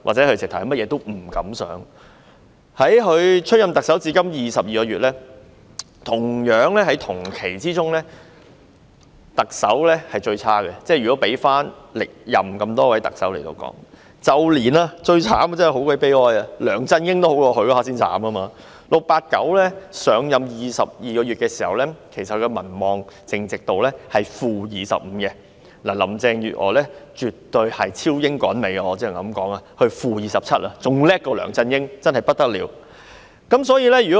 林鄭月娥出任特首至今22個月，如果與歷任特首比較，她在相同期間內的民望是最差的，最慘的是梁振英比她還要好 ，"689" 上任22個月時，其民望淨值是 -25%； 至於林鄭月娥，我只能說絕對是超英趕美，她的民望淨值是 -27%， 比梁振英還要厲害，真是不得了。